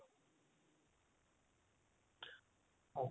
ok